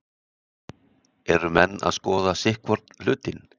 Eru menn að skoða sitthvorn hlutinn?